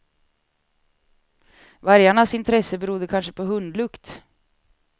Vargarnas intresse berodde kanske på hundlukt.